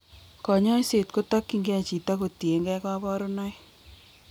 Kanyaiset kotokyingei chito kotiengei kabarunoik